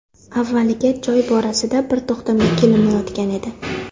Avvaliga joy borasida bir to‘xtamga kelinmayotgan edi.